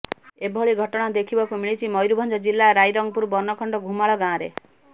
ଏଭଳି ଘଟଣା ଦେଖିବାକୁ ମିଳିଛି ମୟୁରଭଞ୍ଜ ଜିଲ୍ଲା ରାଇରଙ୍ଗପୁର ବନଖଣ୍ଡ ଘୁମାଳ ଗାଁରେ